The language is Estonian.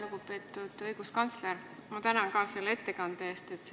Lugupeetud õiguskantsler, minagi tänan selle ettekande eest!